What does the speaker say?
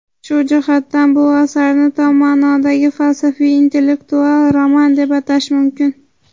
Shu jihatdan bu asarni tom maʼnodagi falsafiy-intellektual roman deb atash mumkin.